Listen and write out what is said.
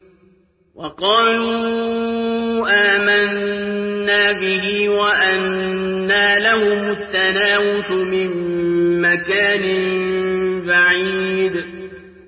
وَقَالُوا آمَنَّا بِهِ وَأَنَّىٰ لَهُمُ التَّنَاوُشُ مِن مَّكَانٍ بَعِيدٍ